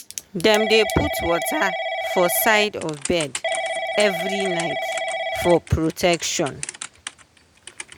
dem dey put water for side of bed every night for protection.